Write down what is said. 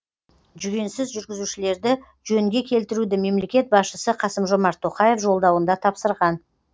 жүгенсіз жүргізушілерді жөнге келтіруді мемлекет басшысы қасым жомарт тоқаев жолдауында тапсырған